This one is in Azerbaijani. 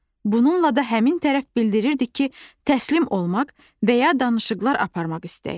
Bununla da həmin tərəf bildirirdi ki, təslim olmaq və ya danışıqlar aparmaq istəyir.